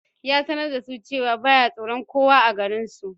Ya sanar da su cewa ba ya tsoron kowa a garinsu